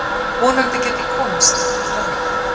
Vonandi get ég komist eitthvert annað.